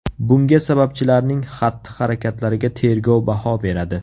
Bunga sababchilarning xatti-harakatlariga tergov baho beradi .